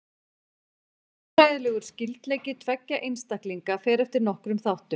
Erfðafræðilegur skyldleiki tveggja einstaklinga fer eftir nokkrum þáttum.